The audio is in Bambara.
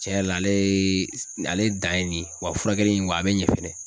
Cɛrɛ la alee ale dan ye nin ye wa furakɛli in wa a be ɲɛ fɛnɛ